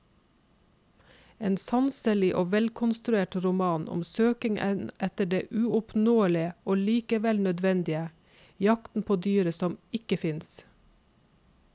En sanselig og velkonstruert roman om søkingen etter det uoppnåelige og likevel nødvendige, jakten på dyret som ikke finnes.